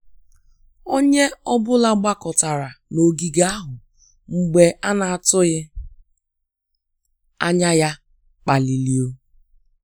Onye ọ bụla gbakọtara n'ogige ahụ mgbe a na-atụghị anya ya kpaliri ou